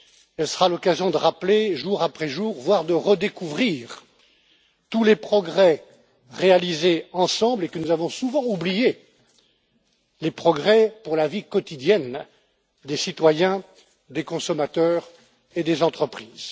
Elle sera l'occasion de rappeler jour après jour, voire de redécouvrir, tous les progrès réalisés ensemble et que nous avons souvent oubliés les progrès pour la vie quotidienne des citoyens, des consommateurs et des entreprises.